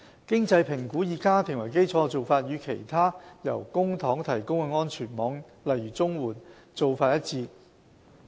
經濟評估以家庭為基礎的做法，與其他由公帑提供的安全網做法一致。